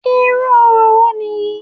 Irú orò wo nìyí?